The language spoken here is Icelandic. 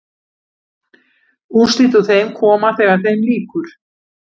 Úrslit úr þeim koma þegar þeim lýkur.